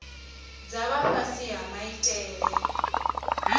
dza vha fhasi ha maitele